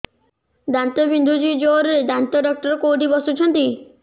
ଦାନ୍ତ ବିନ୍ଧୁଛି ଜୋରରେ ଦାନ୍ତ ଡକ୍ଟର କୋଉଠି ବସୁଛନ୍ତି